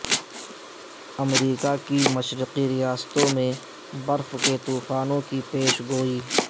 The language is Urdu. امریکہ کی مشرقی ریاستوں میں برف کے طوفان کی پیش گوئی